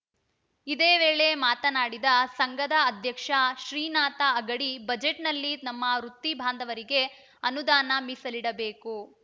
ಇದೇ ವೇಳೆ ಮಾತನಾಡಿದ ಸಂಘದ ಅಧ್ಯಕ್ಷ ಶ್ರೀನಾಥ ಅಗಡಿ ಬಜೆಟ್‌ನಲ್ಲಿ ನಮ್ಮ ವೃತ್ತಿ ಬಾಂಧವರಿಗೆ ಅನುದಾನ ಮೀಸಲಿಡಬೇಕು